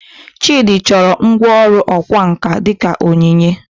Chidi chọrọ ngwá ọrụ ọkwá nkà dị ka onyinye